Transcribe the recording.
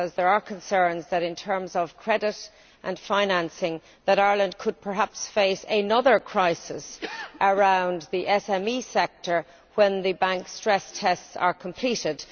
Because there are concerns that, in terms of credit and financing, Ireland could perhaps face another crisis in the SME sector when the bank stress tests are completed.